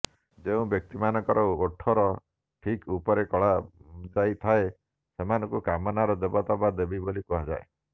ଯେଉଁ ବ୍ୟକ୍ତିମାନଙ୍କର ଓଠର ଠିକ୍ ଉପରେ କଳାଜାଇ ଥାଏ ସେମାନଙ୍କୁ କାମନାର ଦେବତା ବା ଦେବୀ ବୋଲି କୁହାଯାଏ